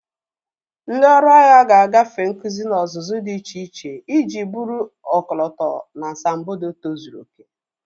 Ndị ọrụ agha ga-agafe nkuzi na ọzụzụ dị iche iche iji bụrụ ọkọlọtọ na asambodo tozuru oke.